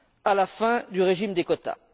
à la fin du régime des quotas.